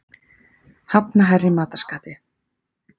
Hafna hærri matarskatti